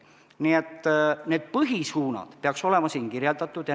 Nii et põhisuunad peaks olema siin kirjeldatud.